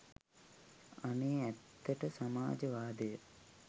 අනේ ඇත්තට සමාජ වාදය